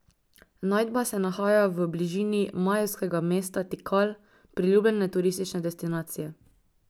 Najdba se nahaja v bližini majevskega mesta Tikal, priljubljene turistične destinacije.